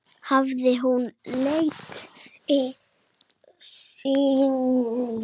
Hafði hún lent í slysi?